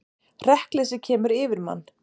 Hrekkleysið sem kemur yfir mann.